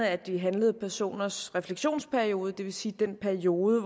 at de handlede personers refleksionsperiode det vil sige den periode